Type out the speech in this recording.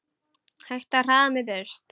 Hættu að hræða mig burt.